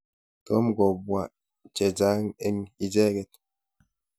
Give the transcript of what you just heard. Tom kopwa che chang' eng' icheket.